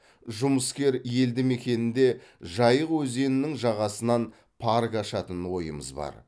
жұмыскер елді мекенінде жайық өзенінің жағасынан парк ашатын ойымыз бар